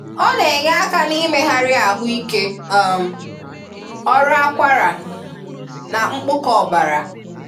Ọ na-enyé aka n’ị̀mègharị ahụ ike, um ọrụ àkwàrà, na mkpụ̀kọ ọ̀bara.